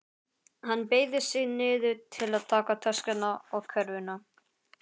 Hann beygði sig niður til að taka töskuna og körfuna.